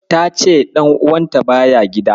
Ta ce ɗan'uwanta baya gida.